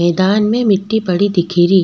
मैदान में मिटटी पड़ी दिखी री।